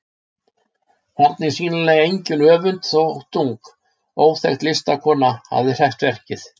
Þar er sýnilega engin öfund þótt ung, óþekkt listakona hafi hreppt verkið.